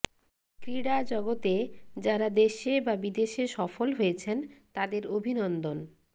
ক্রিড়া জগতে যাঁরা দেশে বা বিদেশে সফল হয়েছেন তাঁদের অভিনন্দন